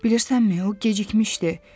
Bilirsənmi, o gecikmişdi.